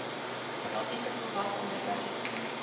basiese volwasse onderwys